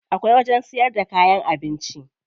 Akwai wajen siyar da kayan abinci.